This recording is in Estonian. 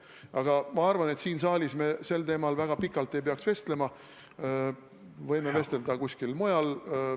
Aga ma arvan, et siin saalis me sel teemal väga pikalt ei peaks vestlema, võime sellest rääkida kuskil mujal.